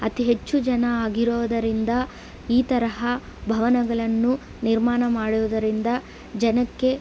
ಅತಿ ಹೆಚ್ಚು ಜನ ಆಗಿರೋದಿರಂದ ಈ ತರಹ ಭವನಗಳ್ಳನ್ನು ನಿರ್ಮಾಣ ಮಾಡುವುದರಿಂದ ಜನಕ್ಕೆ --